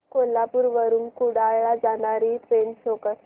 कोल्हापूर वरून कुडाळ ला जाणारी ट्रेन शो कर